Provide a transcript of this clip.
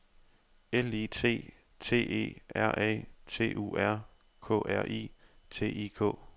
L I T T E R A T U R K R I T I K